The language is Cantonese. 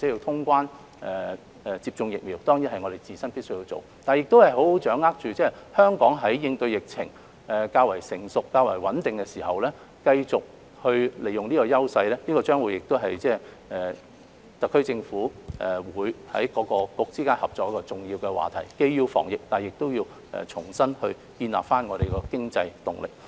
通關及接種疫苗當然是我們自身必須要做的，但如何才能好好掌握香港在應對疫情較為成熟和穩定的時候，繼續利用這種優勢，將會是特區政府各個政策局之間合作的重要話題，既要防疫，但亦要重新建立經濟動力。